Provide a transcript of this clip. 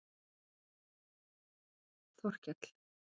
Þorkell